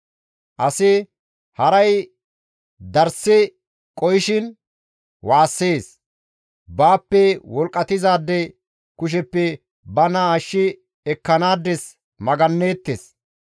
«Asi haray darssi qohishin waassees; baappe wolqqatizaade kusheppe bana ashshi ekkanaades magannees.